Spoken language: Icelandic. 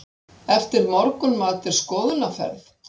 Eftir morgunmat er skoðunarferð.